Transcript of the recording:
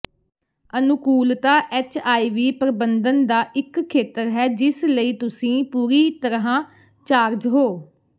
ਅਨੁਕੂਲਤਾ ਐੱਚਆਈਵੀ ਪ੍ਰਬੰਧਨ ਦਾ ਇਕ ਖੇਤਰ ਹੈ ਜਿਸ ਲਈ ਤੁਸੀਂ ਪੂਰੀ ਤਰ੍ਹਾਂ ਚਾਰਜ ਹੋ